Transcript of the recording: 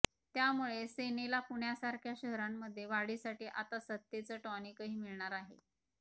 त्यामुळे सेनेला पुण्यासारख्या शहरांमध्ये वाढीसाठी आता सत्तेचं टॉनिकही मिळणार आहे